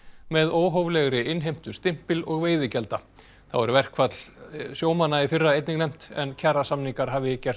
með óhóflegri innheimtu stimpil og veiðigjalda þá er verkfall sjómanna í fyrra einnig nefnt en kjarasamningar hafi gert